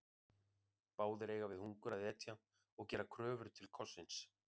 Báðir eiga við hungur að etja og gera kröfu til kossins.